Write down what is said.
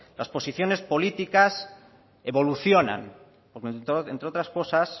las posiciones políticas evolucionan entre otras cosas